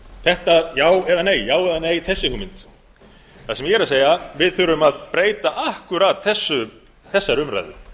þetta já eða nei já eða nei þessi hugmynd það sem ég er að segja við þurfum að breyta akkúrat þessari umræðu